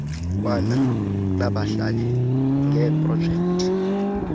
kwana nabahlali ngeeprojekthi